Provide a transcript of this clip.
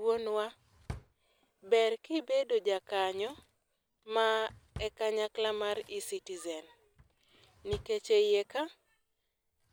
Wuonwa, ber kibedo ja kanyo mar e kanyakla mar Ecitizen. Nikech e iye ka,